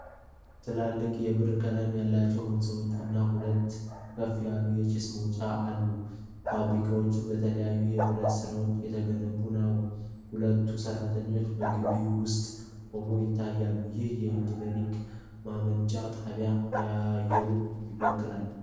ትላልቅ የብር ቀለም ያላቸው ሕንፃዎች እና ሁለት ከፍ ያሉ የጭስ ማውጫዎች አሉ። ፋብሪካው በተለያዩ የብረት አሠራሮች የተገነባ ነው። ሁለት ሠራተኞች በግቢው ውስጥ ቆመው ይታያሉ። ይህ የኢነርጂ ማመንጫ ጣቢያ አየሩን ይበክላል?